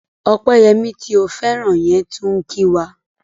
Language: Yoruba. Ọpẹ́yẹmí tó ń fẹ́rakù yẹn tún ń kí wa.